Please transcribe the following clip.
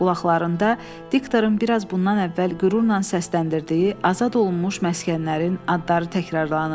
Qulaqlarında diktorun biraz bundan əvvəl qürurla səsləndirdiyi azad olunmuş məskənlərin adları təkrarlanırdı.